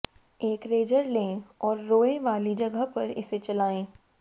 एक रेजर लें और रोए वाली जगह पर इसे चलाएं